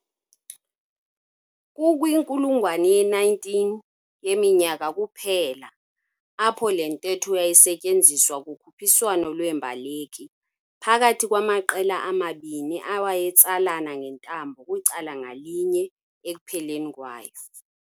Kukwinkulungwane ye-19 yeminyaka kuphela apho le ntetho yayisetyenziswa kukhuphiswano lweembaleki phakathi kwamaqela amabini awayetsalana ngentambo kwicala ngalinye ekupheleni kwayo.